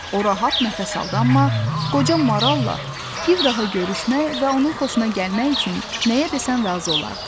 O rahat nəfəs aldı, amma qoca maralla bir daha görüşmək və onun xoşuna gəlmək üçün nəyə desən razı olardı.